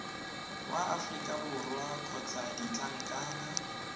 wa aforika borwa kgotsa ditlankana